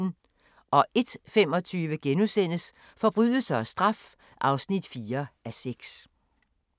01:25: Forbrydelse og straf (4:6)*